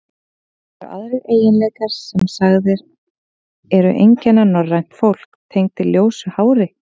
Eru aðrir eiginleikar, sem sagðir eru einkenna norrænt fólk, tengdir ljósu hári?